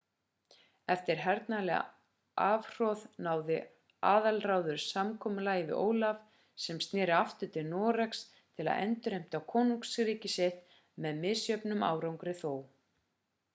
eftir hernaðarlegt afhroð náði aðalráður samkomulagi við ólaf sem snéri aftur til noregs til að endurheimta konungsríki sitt með misjöfnum árangri þó